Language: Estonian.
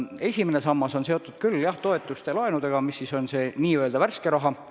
Esimene sammas on seotud toetuste ja laenudega – pean silmas seda n-ö värsket raha.